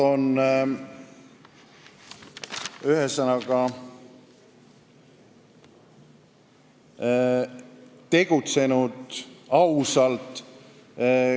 Ühesõnaga, nad on tegutsenud ausalt.